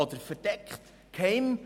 Oder verdeckt, geheim?